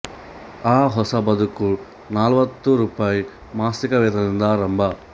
ಆ ಹೊಸ ಬದುಕು ನಾಲ್ವತ್ತು ರೂಪಾಯಿ ಮಾಸಿಕ ವೇತನದಿಂದ ಆರಂಭ